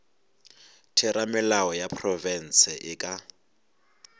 theramelao ya profense e ka